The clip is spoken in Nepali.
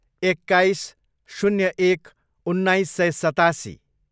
एक्काइस, शून्य एक, उन्नाइस सय सतासी